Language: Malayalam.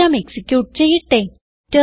പ്രോഗ്രാം എക്സിക്യൂട്ട് ചെയ്യട്ടെ